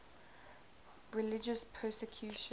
religious persecution